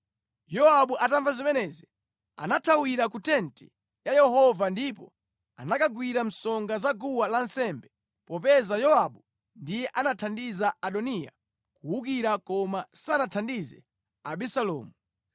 Yowabu atamva zimenezi anathawira ku tenti ya Yehova ndipo anakagwira msonga za guwa lansembe, popeza Yowabu ndiye anathandiza Adoniya kuwukira koma sanathandize Abisalomu.